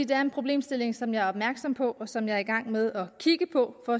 det er en problemstilling som jeg er opmærksom på og som jeg er i gang med at kigge på for